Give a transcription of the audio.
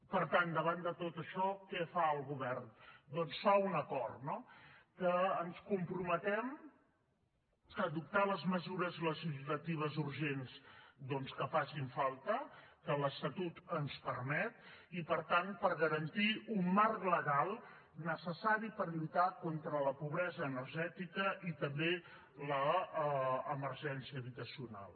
per tant davant de tot això què fa el govern doncs fa un acord no que ens comprometem a adoptar les mesures legislatives urgents doncs que facin falta que l’estatut ens permet i per tant per garantir un marc legal necessari per lluitar contra la pobresa energètica i també l’emergència habitacional